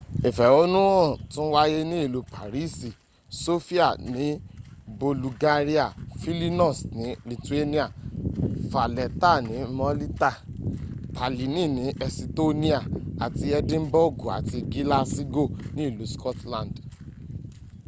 ìfẹ̀húnú hàn tún wáyé ní ìlú pàrísì sofia ní bọ̀lùgáríà fílínọ́s ní lìtùánà fàlẹ́tà ní málítà tàlínì ní ẹsitóníà àti ẹdínbọ́gù àti gílásígò ní ìlú scotland